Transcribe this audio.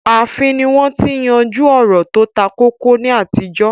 Ààfin ni wọ́n ti ń yanjú ọ̀rọ̀ tó takókó ní àtijọ́